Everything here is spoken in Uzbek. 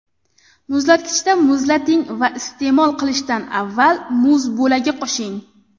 Muzlatkichda muzlating va iste’mol qilishdan avval muz bo‘lagi qo‘shing.